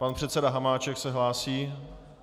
Pan předseda Hamáček se hlásí.